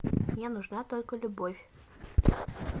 мне нужна только любовь